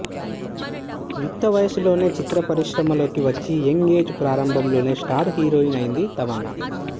యుక్తవయసులోనే చిత్ర పరిశ్రమలోకి వచ్చి యంగ్ ఏజ్ ప్రారంభంలోనే స్టార్ హీరోయిన్ అయింది తమన్నా